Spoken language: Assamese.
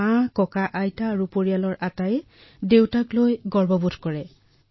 আৰু মোৰ পৰিয়ালৰ আটাইবোৰ লোকে দেউতাক লৈ গৌৰৱ অনুভৱ কৰে